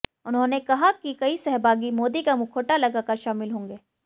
उन्होंने कहा कि कई सहभागी मोदी का मुखौटा लगा कर शामिल होंगे